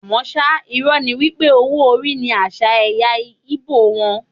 Àmọ́ ṣá, irọ́ ni wípé owó orí ní àṣà ẹ̀ya Ìgbò wón.